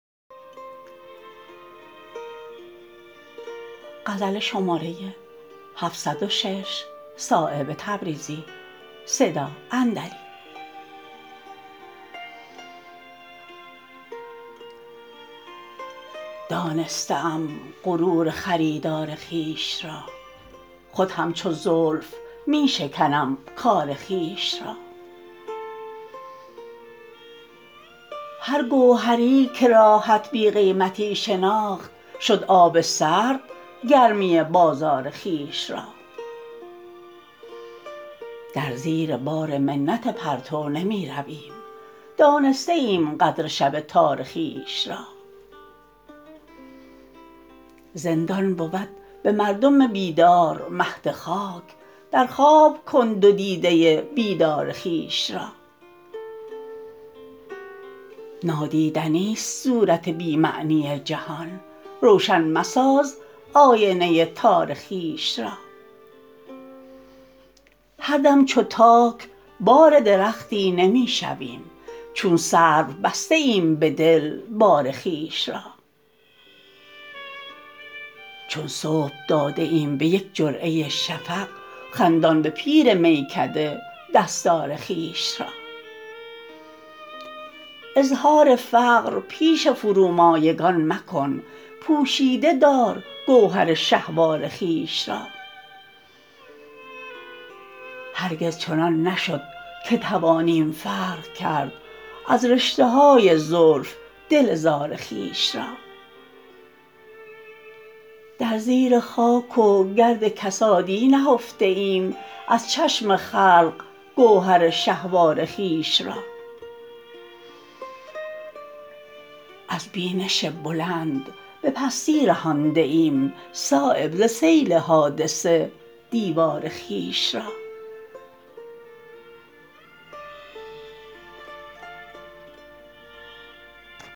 دانسته ام غرور خریدار خویش را خود همچو زلف می شکنم کار خویش را هر گوهری که راحت بی قیمتی شناخت شد آب سرد گرمی بازار خویش را در زیر بار منت پرتو نمی رویم دانسته ایم قدر شب تار خویش را زندان بود به مردم بیدار مهد خاک در خواب کن دو دیده بیدار خویش را نادیدنی است صورت بی معنی جهان روشن مساز آینه تار خویش را هر دم چو تاک بار درختی نمی شویم چون سرو بسته ایم به دل بار خویش را چون صبح داده ایم به یک جرعه شفق خندان به پیر میکده دستار خویش را اظهار فقر پیش فرومایگان مکن پوشیده دار گوهر شهوار خویش را هرگز چنان نشد که توانیم فرق کرد از رشته های زلف دل زار خویش را در زیر خاک و گرد کسادی نهفته ایم از چشم خلق گوهر شهوار خویش را از بینش بلند به پستی رهانده ایم صایب ز سیل حادثه دیوار خویش را